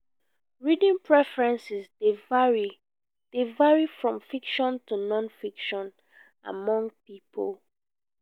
reading preferences dey vary dey vary from fiction to non-fiction among people.